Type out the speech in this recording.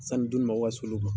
Sani duni mago ka s'olu ma.